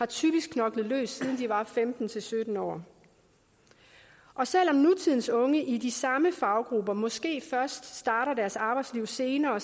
typisk knoklet løs siden de var femten til sytten år og selv om nutidens unge i de samme faggrupper måske først starter deres arbejdsliv senere